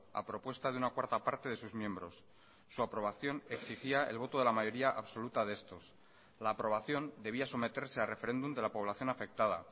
a propuesta de una cuarta parte de sus miembros su aprobación exigía el voto de la mayoría absoluta de estos la aprobación debía someterse a referéndum de la población afectada